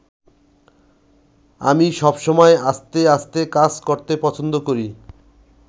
আমি সবসময় আস্তে আস্তে কাজ করতে পছন্দ করি।